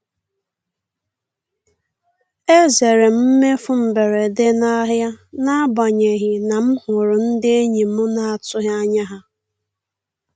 E zeere m mmefu mberede n'ahịa n'agbanyeghị na m hụrụ ndị enyi m na-atụghị anya ha.